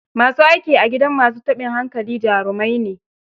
Ma su aiki a gidan ma su taɓin hankali jarimai ne.